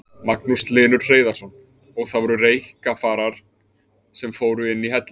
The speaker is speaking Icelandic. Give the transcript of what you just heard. Magnús Hlynur Hreiðarsson: Og það voru reykkafarar sem fóru inn í hellinn?